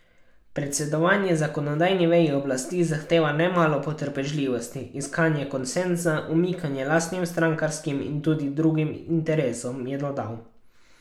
Predsedovanje zakonodajni veji oblasti zahteva nemalo potrpežljivosti, iskanje konsenza, umikanje lastnim strankarskim in tudi kakšnim drugim interesom, je dodal.